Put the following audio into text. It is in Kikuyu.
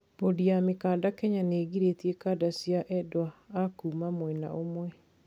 Bodi ya mikanda Kenya niigiritie kanda cia endwa a kuuma mwena ũmwe.